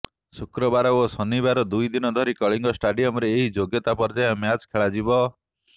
ଶୁକ୍ରବାର ଓ ଶନିବାର ଦୁଇ ଦିନ ଧରି କଳିଙ୍ଗ ଷ୍ଟାଡିୟମରେ ଏହି ଯୋଗ୍ୟତା ପର୍ଯ୍ୟାୟ ମ୍ୟାଚ୍ ଖେଳାଯିବ